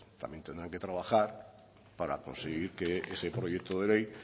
también tendrán que trabajar para conseguir que ese proyecto de ley